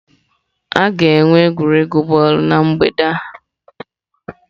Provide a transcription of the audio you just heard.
A ga-enwe egwuregwu bọọlụ na mgbede a.